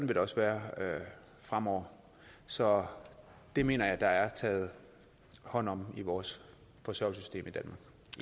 det også være fremover så det mener jeg der er taget hånd om i vores forsørgelsesystem